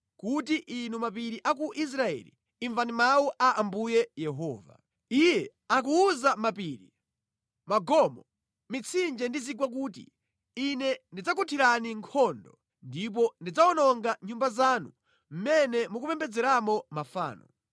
kuti, ‘Inu mapiri a ku Israeli, imvani mawu a Ambuye Yehova. Iye akuwuza mapiri, magomo, mitsinje ndi zigwa kuti: Ine ndizakuthirani nkhondo ndipo ndidzawononga nyumba zanu mʼmene mukupembedzeramo mafano.